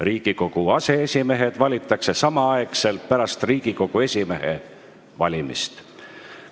Riigikogu aseesimehed valitakse samaaegselt pärast Riigikogu esimehe valimist.